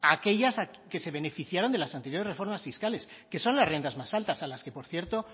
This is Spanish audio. aquellas que se beneficiaron de las anteriores reformas fiscales que son las rentas más alta a las que por cierto